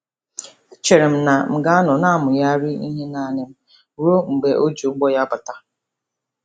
E chere m na m ga-anọ na-amụgharị ihe naanị m ruo mgbe o ji ụbọ ya bata.